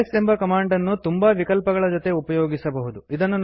LS ಎಂಬ command ಅನ್ನು ತುಂಬಾ ವಿಕಲ್ಪಗಳ ಜೊತೆಗೆ ಉಪಯೋಗಿಸಬಹುದು